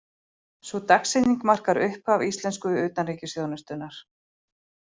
Sú dagsetning markar upphaf íslensku utanríkisþjónustunnar.